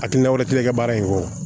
Hakilina wɛrɛ kelen kɛ baara in kɔ